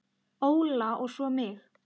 Óla og svo mig.